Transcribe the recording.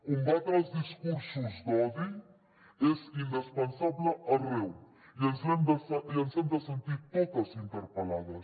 combatre els discursos d’odi és indispensable arreu i ens hem de sentir totes interpel·lades